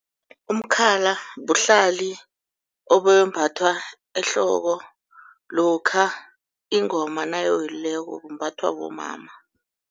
Umkhala buhlalo ombethwa ehloko lokha ingoma nayiwelileko bumbathwa bomama.